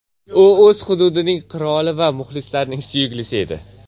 U o‘z hududining qiroli va muxlislarning suyuklisi edi.